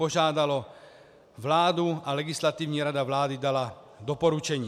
Požádalo vládu a Legislativní rada vlády dala doporučení.